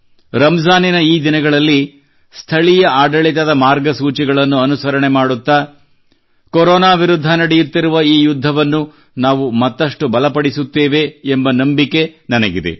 ರಂಜಾನಿನ ಈ ದಿನಗಳಲ್ಲಿ ಸ್ಥಳೀಯ ಆಡಳಿತದ ಮಾರ್ಗಸೂಚಿಗಳನ್ನು ಅನುಸರಣೆ ಮಾಡುತ್ತಾ ಕೋರೊನಾ ವಿರುದ್ಧ ನಡೆಯುತ್ತಿರುವ ಈ ಯುದ್ಧವನ್ನು ನಾವು ಮತ್ತಷ್ಟು ಬಲಪಡಿಸುತ್ತೇವೆ ಎಂಬ ನಂಬಿಕೆ ನನಗಿದೆ